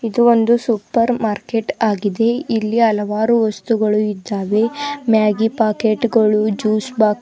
ಇದು ಒಂದು supermarket ಆಗಿದೆ ಇಲ್ಲಿ ಹಲವಾರು ವಸ್ತುಗಳು ಇದ್ದಾವೆ ಮ್ಯಾಗಿ ಪಾಕೆಟ್ ಗಳು ಜ್ಯೂಸ್ ಬಾ --